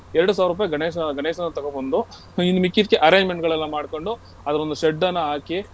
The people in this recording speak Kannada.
ಎರಡು ಸಾವ್ರ ರೂಪೈ ಗಣೇಶ~ ಗಣೇಶನ ತಗೋಬಂದು ಹ್ಮ್ ಇನ್ ಮಿಕ್ಕಿದ್ಕೆ arrangement ಗಳೆಲ್ಲ ಮಾಡ್ಕೊಂಡು ಅಲ್ಲೊಂದು shed ನ್ನ ಹಾಕಿ.